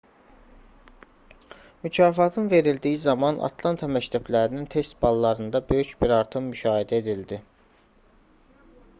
mükafatın verildiyi zaman atlanta məktəblərinin test ballarında böyük bir artım müşahidə edildi